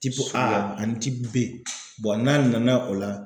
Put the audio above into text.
A ani B. n'a nana o la.